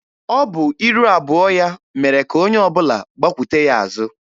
Ọ bụ iru abụọ ya mere ka onye ọbụla gbakwute ya azụ.